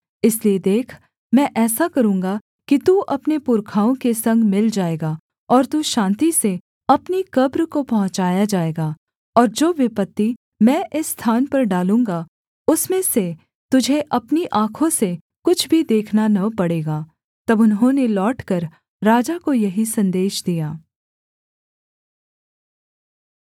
इसलिए देख मैं ऐसा करूँगा कि तू अपने पुरखाओं के संग मिल जाएगा और तू शान्ति से अपनी कब्र को पहुँचाया जाएगा और जो विपत्ति मैं इस स्थान पर डालूँगा उसमें से तुझे अपनी आँखों से कुछ भी देखना न पड़ेगा तब उन्होंने लौटकर राजा को यही सन्देश दिया